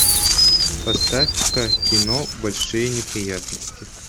поставь ка кино большие неприятности